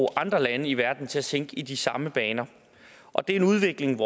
andre lande i verden til at tænke i de samme baner og det er en udvikling